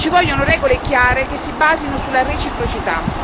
Ci vogliono regole chiare, che si basino sulla reciprocità.